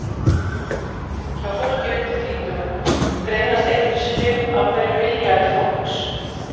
hjá fólki undir þrítugu greinast einungis fimm af hverjum milljarði fólks